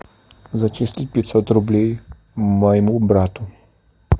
зачислить пятьсот рублей моему брату